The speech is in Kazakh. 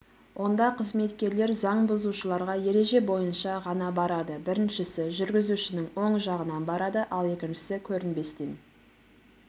онда қызметкерлер заң бұзушыларға ереже бойынша ғана барады біріншісі жүргізушінің оң жағынан барады ал екіншісі көрінбестен